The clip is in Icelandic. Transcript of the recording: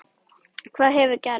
Hvað hefur gerst?